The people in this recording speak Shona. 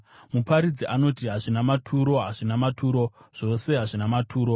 Muparidzi anoti, “Hazvina maturo! Hazvina maturo! Zvose hazvina maturo!”